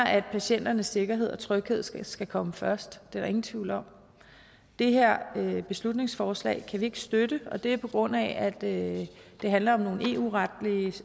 at patienternes sikkerhed og tryghed skal skal komme først det er der ingen tvivl om det her beslutningsforslag kan vi ikke støtte og det er på grund af at det handler om nogle eu retlige